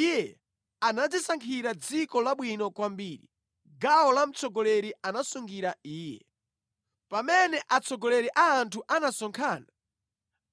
Iye anadzisankhira dziko labwino kwambiri; gawo la mtsogoleri anasungira iye. Pamene atsogoleri a anthu anasonkhana,